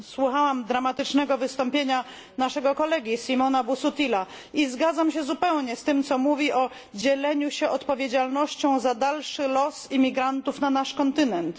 Słuchałam dramatycznego wystąpienia naszego kolegi Simona Busuttila i zgadzam się zupełnie z tym, co mówi o dzieleniu się odpowiedzialnością za dalszy los imigrantów na naszym kontynencie.